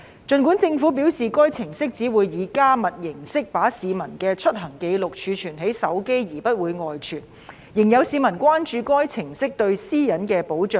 儘管政府表示該程式只會以加密形式把市民的出行紀錄儲存在手機而不會外傳，仍有市民關注該程式對私隱的保障。